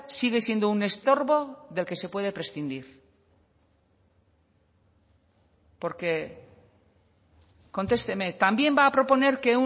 sigue siendo un estorbo del que se puede prescindir porque contesteme también va a proponer que